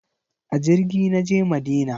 A jirgi na je Madina.